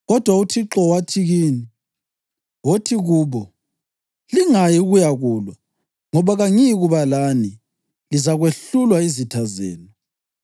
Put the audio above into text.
Kodwa uThixo wathi kimi, ‘Wothi kubo, “Lingayi ukuyakulwa, ngoba kangiyikuba lani. Lizakwehlulwa yizitha zenu.” ’